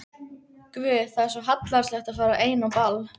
Guð, það er svo hallærislegt að fara ein á ball.